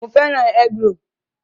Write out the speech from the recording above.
Mo fẹ́ràn egg-roll